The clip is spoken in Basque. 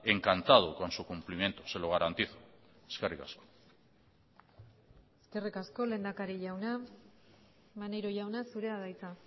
encantado con su cumplimiento se lo garantizo eskerrik asko eskerrik asko lehendakari jauna maneiro jauna zurea da hitza